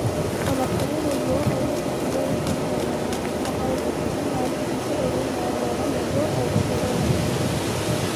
Ona kũrĩ ũguo augĩte atĩ nĩegũtũngana na maabithaa a ũthuthuria wa thiri bũrũrinĩ wa Mwea nĩguo eretheruo na Kinyi